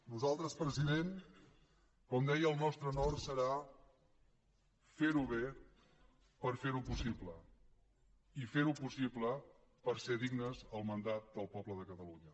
nosaltres president com deia el nostre nord serà ferho bé per ferho possible i ferho possible per ser dignes del mandat del poble de catalunya